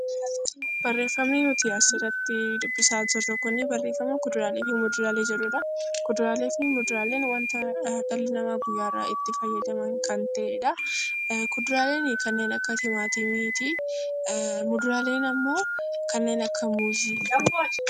Barreeffamni nuti asirratti dubbisaa jirru kuni barreeffama 'Kuduraalee fi muduraalee' jedhuu dha. Kuduraalee fi muduraaleen wanta dhalli namaa guyyaa irraa itti fayyadaman kan ta'ee dha. Kuduraaleen kanneen akka timaatimii ti. Muduraaleen immoo kanneen akka muuzii.